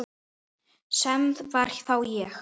Sem var þá ég.